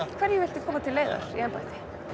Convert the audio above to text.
hverju viltu koma til leiðar í embætti